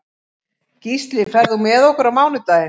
Gísli, ferð þú með okkur á mánudaginn?